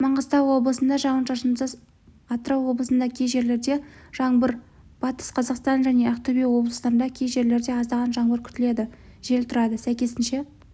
маңғыстау облысында жауын-шашынсыз атырау облысында кей жерлерде жаңбыр батыс қазақстан және ақтөбе облыстарында кей жерлерде аздаған жаңбыр күтіледі жел тұрады сәйкесінше